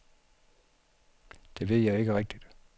Det ved jeg ikke rigtigt.